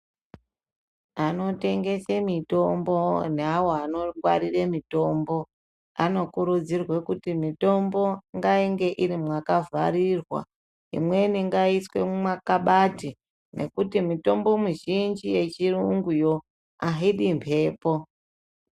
Anotengesa mitombo neavo vanongwarira mitombo anokurudzirwa kuti mitombo ingainge yakavharirwa imweni ngaiswe mumakabati ngekuti Mitombo mizhinji yechirungu aidi mhepo.